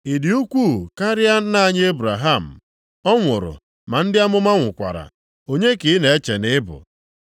Ị dị ukwuu karịa nna anyị Ebraham? Ọ nwụrụ, ma ndị amụma nwụkwara. Onye ka ị na-eche na ị bụ?”